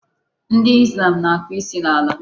Ndị Islam na-akụ isi n'ala.